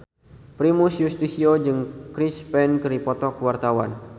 Primus Yustisio jeung Chris Pane keur dipoto ku wartawan